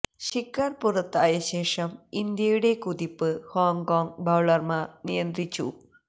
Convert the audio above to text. ശിഖര് പുറത്തായ ശേഷം ഇന്ത്യയുടെ കുതിപ്പ് ഹോങ്കോംഗ് ബൌളര്മാര് നിയന്ത്രിച്ചു